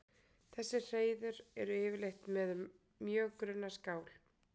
Þessi hreiður eru yfirleitt með mjög grunna skál.